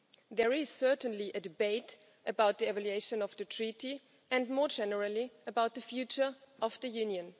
there is certainly a debate about the evaluation of the Treaty and, more generally, about the future of the Union.